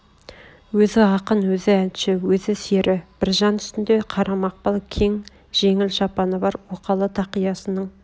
өзі ақын өзі әнші өзі сері біржан үстінде қара мақпал кең жеңіл шапаны бар оқалы тақиясының